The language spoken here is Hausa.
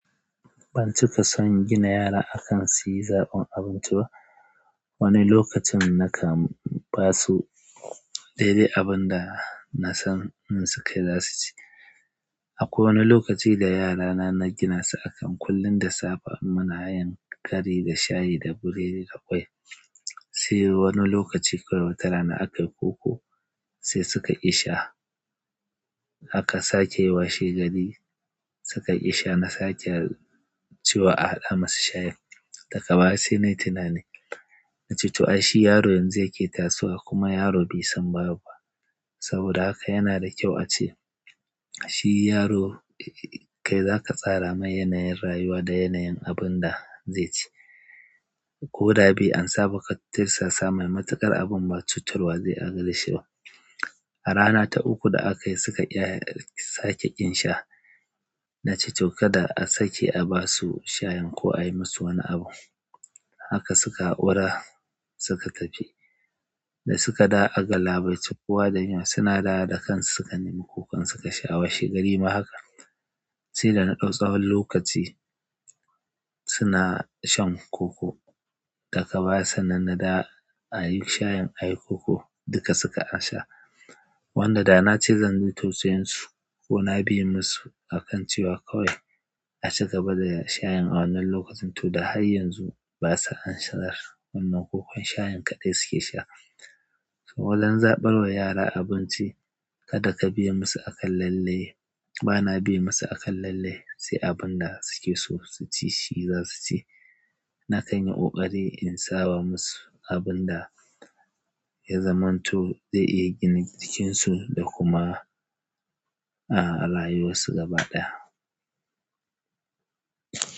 Ban cika son gina yara akan su yi zaɓen abinci ba. Wani lokacin nakan ba su daidai abun da na san in su kai za su ci. Akwai wani lokaci da yarana na gina su akan kullum da safe muna hayan ƙari da shayi da burodi da ƙwai. Sai wani lokaci kawai watara akayi koko sai suka ƙi sha. Aka sakeyi washe gari suka ƙi sha na sake cewa a haɗamu su shayin. Daga baya sai na yi tunani, na ce to a shi yaro yanzu yake tasowa kuma yaro bai san babu ba. Saboda haka yanada kyau ace, shi yaro kai zaka tsara mai yanayin rayuwa da yanayin abunda zai ci. Ko da bai an saba ka tirsasa mai matuƙar abun ba cutarwa zai a gareshi ba. A rana ta uku da aka yi suka ƙi sake ƙin sha. Na ce toh kada a sake a ba su shayin ko a yi musu wani abun. Haka suka haƙura suka tafi. Da suka dawo a galabaice kowa da yunwa suna dawowa da kansu suka nema kokon suka sha, washe gari ma haka. Sai da na ɗau tsawon lokaci suna shan koko. Daga baya sannan na dawo a yi shayin a yi koko duka suka sha. Wanda da na ce zan ji tausayinsu ko na biye musu akan cewa kawai a ci gaba da shayin a wannan lokacin to da har yanzu ba sa an sanar wannan kokon shayin kaɗai suke sha. Wajen zaɓen ma yara abinci, kada ka biye musu akan lallai. Bana biye musu akan lallai sai abun da suke so su ci shi za su ci. Na kanyi koƙari in saba musu abun da ya zamanto zai iya gina jikinsu da kuma, a, rayuwar su gaba ɗaya.